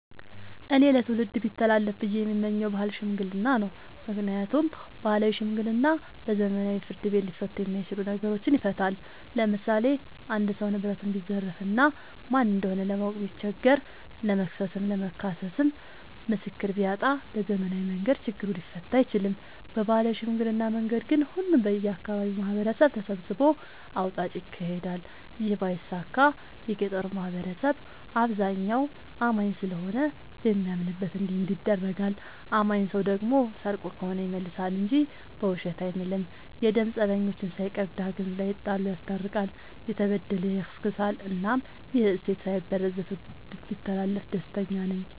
እኔ ለትውልድ ቢተላለፍ ብዬ የምመኘው የባህል ሽምግልና ነው። ምክንያቱም ባህላዊ ሽምግልና በዘመናዊ ፍርድ ቤት ሊፈቱ የማይችሉ ነገሮችን ይፈታል። ለምሳሌ አንድ ሰው ንብረቱን ቢዘረፍ እና ማን እንደሆነ ለማወቅ ቢቸገር ለመክሰስም ለመካስም ምስክር ቢያጣ በዘመናዊ መንገድ ችግሩ ሊፈታ አይችልም። በባህላዊ ሽምግልና መንገድ ግን ሁሉም የአካባቢው ማህበረሰብ ተሰብስቦ አውጣጭ ይካሄዳል ይህ ባይሳካ የገጠሩ ማህበረሰብ አብዛኛው አማኝ ስለሆነ በሚያምንበት እንዲምል ይደረጋል። አማኝ ሰው ደግሞ ሰርቆ ከሆነ ይመልሳ እንጂ በውሸት አይምልም። የደም ፀበኞችን ሳይቀር ዳግም ላይጣሉ ይስታርቃል፤ የተበደለ ያስክሳል እናም ይህ እሴት ሳይበረዝ ለትውልድ ቢተላለፍ ደስተኛ ነኝ።